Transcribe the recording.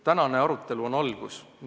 Tänane arutelu on algus.